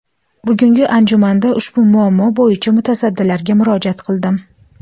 Bugungi anjumanda ushbu muammo bo‘yicha mutasaddilarga murojaat qildim.